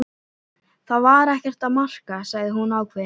Þetta var ekki að marka, sagði hún ákveðin.